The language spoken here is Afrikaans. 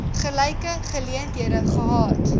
gelyke geleenthede gehad